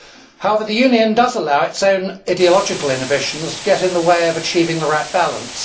However, the Union does allow its own ideological inhibitions to get in the way of achieving the right balance.